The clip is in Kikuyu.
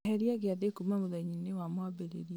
eheria gĩathĩ kuma mũthenya-inĩ wa mwambĩrĩrio